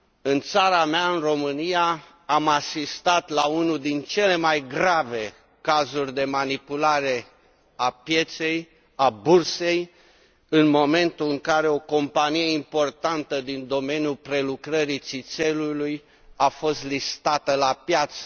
În țara mea, în România, am asistat la unul din cele mai grave cazuri de manipulare a pieței, a bursei, în momentul în care o companie importantă din domeniul prelucrării țițeiului a fost listată pe piață.